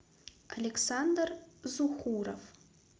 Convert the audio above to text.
александр зухуров